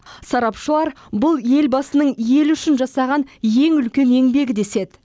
сарапшылар бұл елбасының елі үшін жасаған ең үлкен еңбегі деседі